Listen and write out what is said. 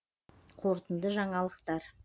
қорытынды жаңалықтар